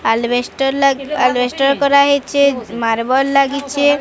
ଆଲବେଷ୍ଟ ଲା ଆଲବେଷ୍ଟର କରାହେଇଛି ମାର୍ବଲ ଲାଗିଛି।